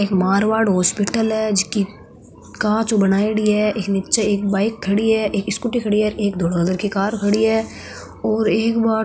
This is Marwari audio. एक मारवाड़ हॉस्पिटल है जिकी कांच हु बनाईडी है नीचे एक बाइक खड़ी है एक स्कूटी खड़ी है और एक धोला कलर की कार खडी है और एक बा --